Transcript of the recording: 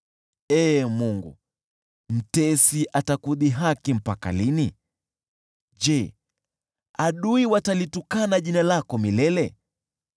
Ee Mungu, mtesi atakudhihaki mpaka lini? Je, adui watalitukana jina lako milele?